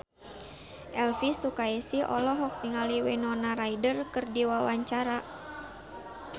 Elvi Sukaesih olohok ningali Winona Ryder keur diwawancara